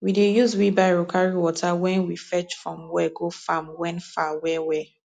we dey use wheelbarrow carry water wen we fetch from well go farm wen far well well